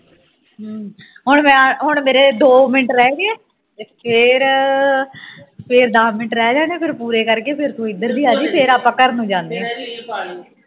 ਹੂ ਹੁਣ ਮੈਂ ਹੁਣ ਮੇਰੇ ਦੋ ਮਿੰਟ ਰਹਿ ਗਏ ਤੇ ਫੇਰ ਦਾਸ ਮਿੰਟ ਰਹਿ ਜਾਣੇ ਫੇਰ ਪੂਰੇ ਕਰਕੇ ਫੇਰ ਤੂ ਇਧਰ ਦੀ ਆਜੀ ਫੇਰ ਆਪਾਂ ਘਰ ਨੂੰ ਜਾਨੇ ਆਂ